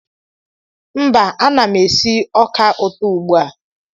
mba, ana m esi ọka ụtọ ugbu a